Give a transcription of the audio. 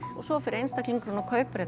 og svo fer einstaklingurinn og kaupir